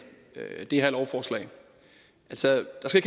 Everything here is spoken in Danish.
det her lovforslag altså der skal